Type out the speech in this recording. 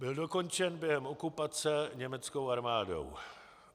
Byl dokončen během okupace německou armádou.